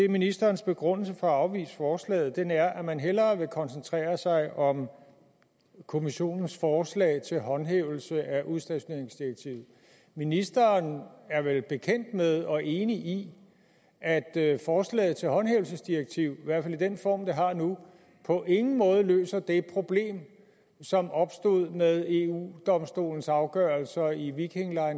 ministerens begrundelse for at afvise forslaget den er at man hellere vil koncentrere sig om kommissionens forslag til håndhævelse af udstationeringsdirektivet ministeren er vel bekendt med og enig i at forslaget til håndhævelsesdirektiv i hvert fald i den form det har nu på ingen måde løser det problem som opstod med eu domstolens afgørelser i viking